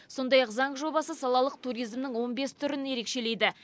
сондай ақ заң жобасы салалық туризмнің он бес түрін ерекшелейді